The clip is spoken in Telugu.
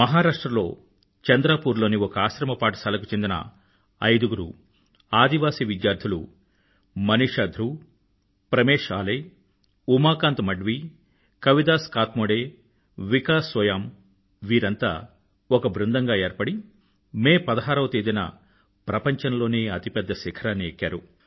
మహారాష్ట్ర లో చంద్రపూర్ లోని ఒక ఆశ్రమపాఠశాలకు చెందిన ఐదుగురు ఆదివాసి విద్యార్థులు మనీషా ధ్రువ్ ప్రమేష్ ఆలే ఉమాకాంత్ మడ్వీ కవిదాస్ కాత్మోడే వికాస్ సోయామ్ వీరంతా ఒక బృందంగా ఏర్పడి మే 16 వ తేదీన ప్రపంచంలోనే అతిపెద్ద శిఖరాన్ని ఎక్కారు